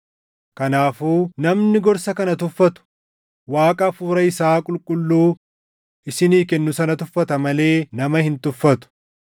Kanaafuu namni gorsa kana tuffatu Waaqa Hafuura isaa Qulqulluu isinii kennu sana tuffata malee nama hin tuffatu.